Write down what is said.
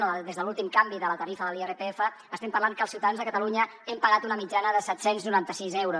o des de l’últim canvi de la tarifa de l’irpf estem parlant que els ciutadans de catalunya hem pagat una mitjana de set cents i noranta sis euros